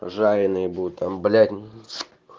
жареные буду там блять